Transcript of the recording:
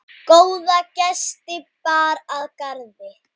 Góða gesti bar að garði.